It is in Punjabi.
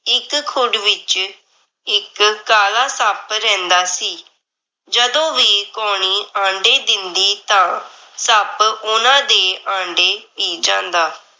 ਇੱਕ ਖੁੱਡ ਵਿਚ ਇੱਕ ਕਾਲਾ ਸੱਪ ਰਹਿੰਦਾ ਸੀ। ਜਦੋਂ ਵੀ ਕਾਉਣੀ ਆਂਡੇ ਦਿੰਦੀ ਤਾਂ ਸੱਪ ਓਹਨਾਂ ਦੇ ਆਂਡੇ ਪੀ ਜਾਂਦਾ।